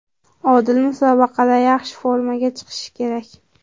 Odil musobaqada yaxshi formaga chiqishi kerak.